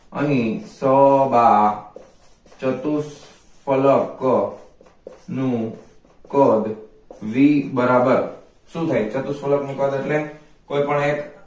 અહી સ બા ચતુષ્ફલક નુ કદ v બરાબર શુ થાય ચતુષ્ફલક નુ કદ એટલે કોઈ પણ એક આ અહી